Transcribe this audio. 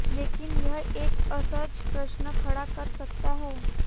लेकिन यह एक असहज प्रश्न खड़ा कर सकता है